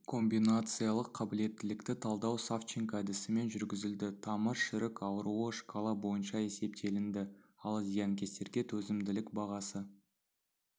комбинациялық қабілеттілікті талдау савченко әдісімен жүргізілді тамыр шірік ауруы шкала бойынша есептелінді ал зиянкестерге төзімділік бағасы